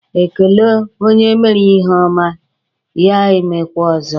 E kele onye mere ihe ọma, ya e mekwa ọzọ.